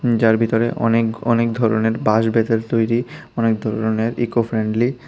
যার ভিতরে অনেক অনেক ধরনের বাঁশ বেতের তৈরি অনেক ধরনের ইকোফ্রেন্ডলি --